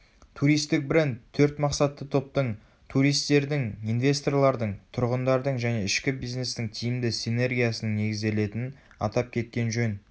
туристік бренд төрт мақсатты топтың туристердің инвесторлардың тұрғындардың және ішкі бизнестің тиімді синергиясының негізделетінін атап кеткен жөн